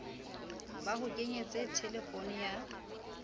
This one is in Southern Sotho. ba ho kenyetse thelefono ya